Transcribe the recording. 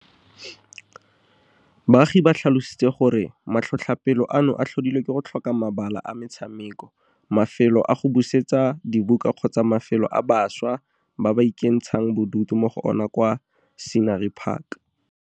Baagi ba tlhalositse gore matlhotlhapelo ano a tlhodilwe ke go tlhoka mabala a metshameko, mafelo a go buisetsa dibuka kgotsa mafelo a bašwa ba ka ikentshang bodutu mo go ona kwa Scenery Park.